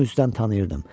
Onu üzdən tanıyırdım.